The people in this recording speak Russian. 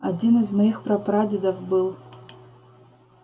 один из моих прапрадедов был